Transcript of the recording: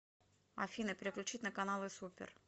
афина переключить на каналы супер